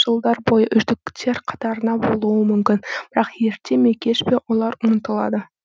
жылдар бойы үздіктер қатарында болуы мүмкін бірақ ерте ме кеш пе олар ұмытылады